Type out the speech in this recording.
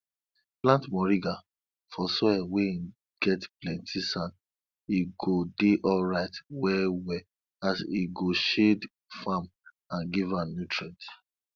plant moringa for soil wey get plenti sand e go dey alright well well as e go shade farm and give am nutrients